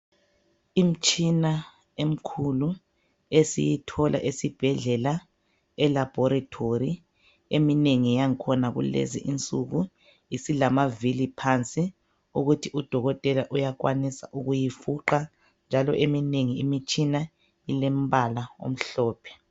Imitshina emkhulu esiyithola esibhedlela elaboratory eminengi yangkhona esiyithola kulezinsuku isilamavili phansi ukuthi u Dokotela uyakwanisa ukuyifuqa njalo eminengi imitshina ilembala omhlophe.